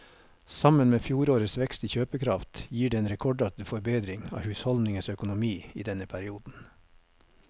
Sammen med fjorårets vekst i kjøpekraft gir det en rekordartet forbedring av husholdningenes økonomi i denne perioden.